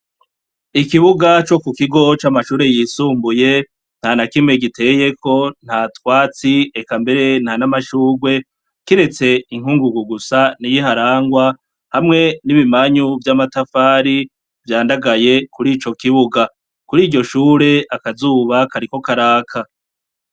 Ikibuga co ku kigo c'amashure yisumbuye ntanakimwe giteyeko nta twatsi eka mbere ntanamashurwe kiretse inkungugu gusa niyo iharangwa hamwe n'ibimanyu vy'amatafari vyandagaye kurico kibuga, kuriryo shure akazuba kariko karaka.